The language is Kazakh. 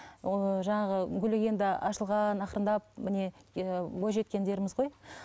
ыыы жаңағы гүлі енді ашылған ақырындап міне ііі бойжеткендеріміз ғой